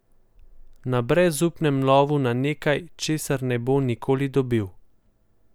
Na brezupnem lovu na nekaj, česar ne bo nikoli dobil.